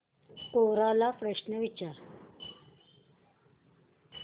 कोरा ला प्रश्न विचार